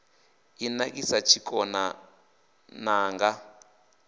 i nakisa tshikona n anga